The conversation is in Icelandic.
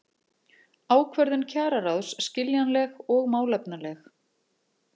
Ákvörðun kjararáðs skiljanleg og málefnaleg